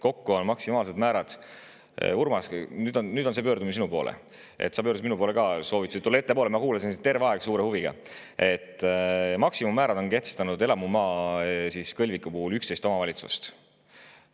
Kokku on maksimaalse määra – Urmas, see on nüüd pöördumine sinu poole, sa pöördusid minu poole ka, soovitasid tulla ettepoole, ma kuulasin sind terve aeg suure huviga – kehtestanud elamumaa kõlviku puhul 11 omavalitsust.